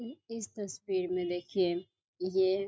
इस तस्वीर में देखिये ये --